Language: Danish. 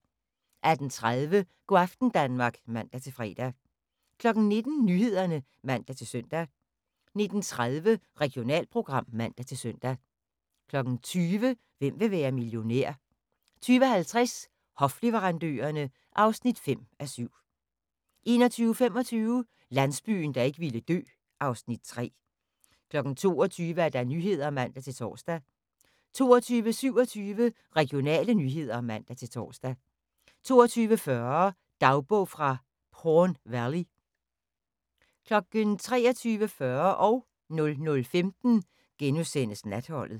18:30: Go' aften Danmark (man-fre) 19:00: Nyhederne (man-søn) 19:30: Regionalprogram (man-søn) 20:00: Hvem vil være millionær? 20:50: Hofleverandørerne (5:7) 21:25: Landsbyen, der ikke ville dø (Afs. 3) 22:00: Nyhederne (man-tor) 22:27: Regionale nyheder (man-tor) 22:40: Dagbog fra Porn Valley 23:40: Natholdet *